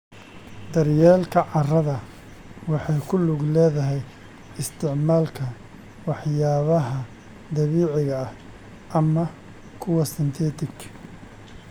Daryeelka carrada waxay ku lug leedahay isticmaalka waxyaabaha dabiiciga ah ama kuwa synthetic.